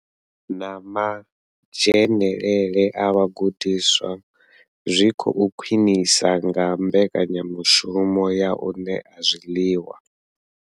Na madzhenele a vhagudiswa zwi khou khwinisea nga mbekanya mushumo ya u ṋea zwiḽiwa.